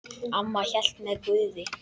Amma hélt með Guði.